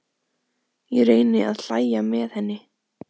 Ég reyni að hlæja með henni.